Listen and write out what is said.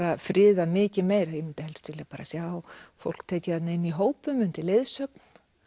friðað mikið meira ég myndi helst vilja bara sjá fólk tekið þarna inn í hópum undir leiðsögn